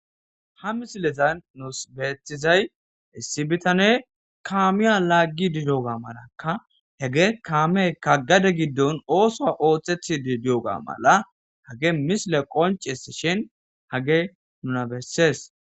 Ha misiletan nuus beeththizay issi bitane kaamiya laaggi didoga malakka hege kaameka gade giddon ooso ooththethi didioga mala hage misile qoncis shin hage nuna besses.